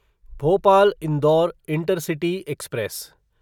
Bhopal Indore intercity express